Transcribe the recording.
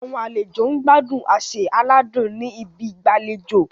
Àwọn àlejò ń gbádùn àsè aládùn ní ibi ìgbàlejò.